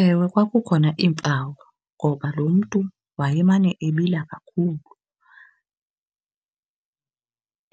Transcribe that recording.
Ewe, kwakukhona iimpawu ngoba lo mntu wayemane ebila kakhulu,